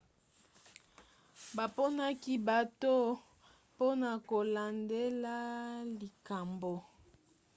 baponaki bato mpona kolandela likambo